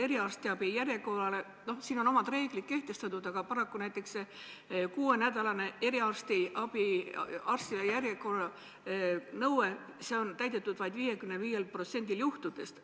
Eriarstiabi järjekorra kohta on omad reeglid kehtestatud, paraku on kuuenädalane eriarstiabi järjekorra nõue täidetud vaid 55%-l juhtudest.